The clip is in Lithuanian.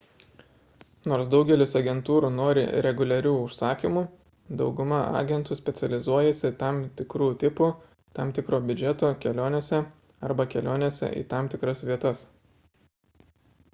nors daugelis agentūrų nori reguliarių užsakymų dauguma agentų specializuojasi tam tikrų tipų tam tikro biudžeto kelionėse arba kelionėse į tam tikras vietas